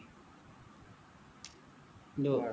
হয় হয়